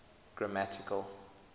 grammatical